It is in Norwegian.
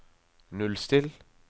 nullstill